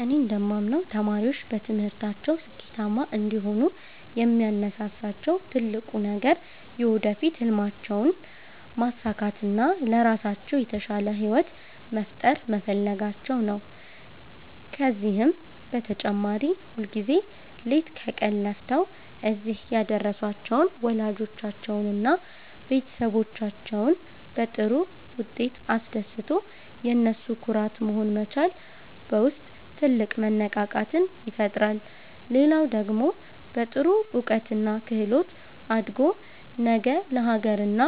እኔ እንደማምነው ተማሪዎች በትምህርታቸው ስኬታማ እንዲሆኑ የሚያነሳሳቸው ትልቁ ነገር የወደፊት ሕልማቸውን ማሳካትና ለራሳቸው የተሻለ ሕይወት መፍጠር መፈለጋቸው ነው። ከዚህም በተጨማሪ ሁልጊዜ ሌት ከቀን ለፍተው እዚህ ያደረሷቸውን ወላጆቻቸውንና ቤተሰቦቻቸውን በጥሩ ውጤት አስደስቶ የነሱ ኩራት መሆን መቻል በውስጥ ትልቅ መነቃቃትን ይፈጥራል። ሌላው ደግሞ በጥሩ እውቀትና ክህሎት አድጎ ነገ ለአገርና